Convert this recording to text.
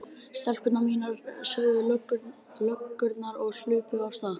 Stelpur mínar sögðu löggurnar og hlupu af stað.